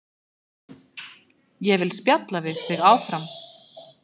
Ég vil spjalla við þig áfram.